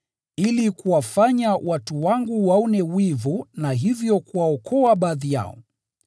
ili kuwafanya watu wangu waone wivu na hivyo kuwaokoa baadhi yao.